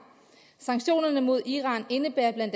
sanktionerne mod iran indebærer bla